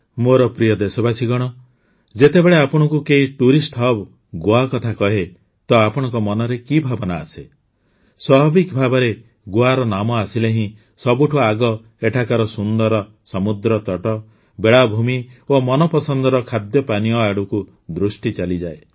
ମୋର ପ୍ରିୟ ଦେଶବାସୀଗଣ ଯେତେବେଳେ ଆପଣଙ୍କୁ କେହି ଟୁରିଷ୍ଟ୍ ହବ୍ ଗୋଆ କଥା କହେ ତ ଆପଣଙ୍କ ମନରେ କି ଭାବନା ଆସେ ସ୍ୱାଭାବିକ ଭାବରେ ଗୋଆର ନାମ ଆସିଲେ ହିଁ ସବୁଠୁ ଆଗ ଏଠାକାର ସୁନ୍ଦର ସମୁଦ୍ରତଟ ବେଳାଭୂମି ଓ ମନପସନ୍ଦର ଖାଦ୍ୟପାନୀୟ ଆଡ଼କୁ ଦୃଷ୍ଟି ଚାଲିଯାଏ